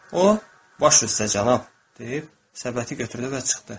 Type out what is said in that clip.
O, "Baş üstə, cənab!" deyib səbəti götürdü və çıxdı.